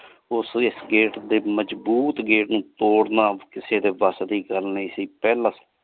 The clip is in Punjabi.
ਓਸ ਇਸ gate ਦੇ ਮਜਬੂਤ gate ਨੂ ਤੋਰਨਾ ਕਿਸੀ ਦੇ ਬਾਸ ਦੇ ਗਲ ਨਹੀ ਸੇ ਪਹਲਾ।